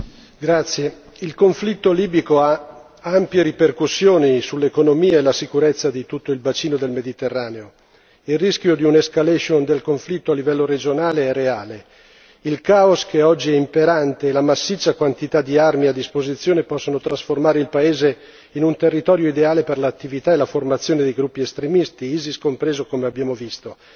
Signor Presidente, onorevoli colleghi, il conflitto libico ha ampie ripercussioni sull'economia e la sicurezza di tutto il bacino del Mediterraneo. Il rischio di un'escalation del conflitto a livello regionale è reale. Il caos che oggi è imperante e la massiccia quantità di armi a disposizione possono trasformare il paese in un territorio ideale per l'attività e la formazione di gruppi estremisti, ISIS compreso come abbiamo visto.